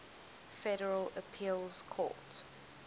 federal appeals court